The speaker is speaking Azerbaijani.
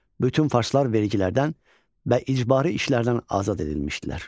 Bütün farslar vergilərdən və icbari işlərdən azad edilmişdilər.